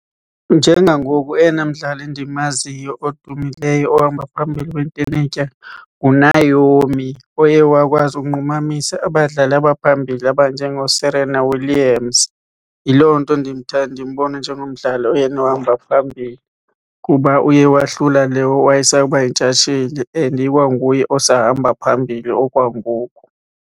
Njengangoku oyena mdlali ndimaziyo odumileyo ohamba phambili kwintenetya nguNaomi oye wakwazi ukunqumamisa abadlali abaphambili abanjengooSerena Williams. Yiloo nto ndimbona njengomdlali oyena ohamba phambili kuba uye wahlula le owayesakuba yintshatsheli and ikwanguye osahamba phambili okwangoku.